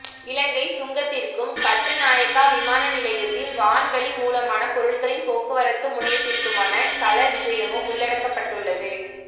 இலங்கைச் சுங்கத்திற்கும் கட்டுநாயக்கா விமான நிலையத்தின் வான் வழி மூலமான பொருட்களின் போக்குவரத்து முனையத்திற்குமான கள விஜயமும் உள்ளடக்கப்பட்டுள்ளது